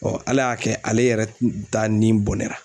Ala y'a kɛ ale yɛrɛ ta ni bonnɛ